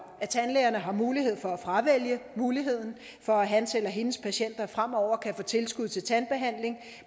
at tandlægerne har mulighed for at fravælge muligheden for at hans eller hendes patienter fremover kan få tilskud til tandbehandling